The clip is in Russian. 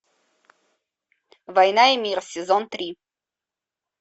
война и мир сезон три